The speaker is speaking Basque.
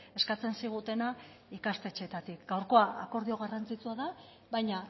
eskatzen zigutena ikastetxeetatik gaurkoa akordio garrantzitsua da baina